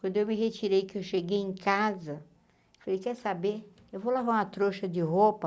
Quando eu me retirei, que eu cheguei em casa, eu falei, quer saber, eu vou lavar uma trouxa de roupa,